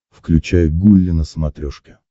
включай гулли на смотрешке